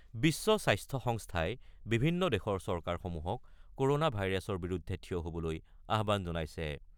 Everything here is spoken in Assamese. বিশ্ব স্বাস্থ্য সংস্থাই বিভিন্ন দেশৰ চৰকাৰসমূহক ক'ৰনা ভাইৰাছৰ বিৰুদ্ধে থিয় হবলৈ আহ্বান জনাইছে।